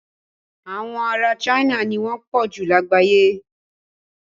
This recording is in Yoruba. Àwọn ará China ni wọ́n pọ̀jù lágbàyé.